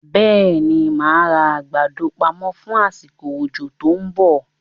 Bẹ́ẹ̀ni, máa ra àgbàdo pamọ fún asiko òjò tòun bọ̀